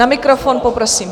Na mikrofon, poprosím.